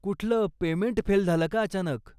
कुठलं payment fail झालं का अचानक?